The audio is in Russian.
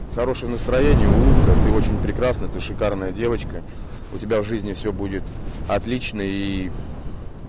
хорошее настроение улыбка ты очень прекрасна ты шикарная девочка у тебя в жизни всё будет отлично и